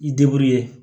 I ye